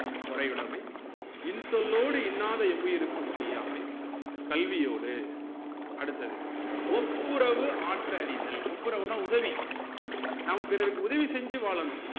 பொறையுடைமை இன்சொல்லோடு இன்னாத எவ்வுயிருக்கும் செய்யாமை கல்வியோடு அடுத்தது ஒப்புரவு ஆற்று அறிதல் ஒப்புரவுனா உதவி நம்ம பிறருக்கு உதவி செஞ்சு வாழனும்